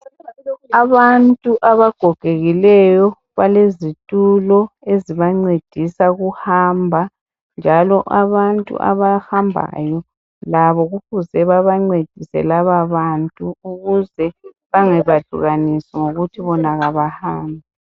Abantu abagogekileyo balezitulo ezibancedisa ukuhamba, njalo abantu abahambayo labo kufuze babancedise lababantu ukuze bangabehlukanisi ngokuthi bona abahambi.